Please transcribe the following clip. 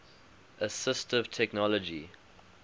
assistive technology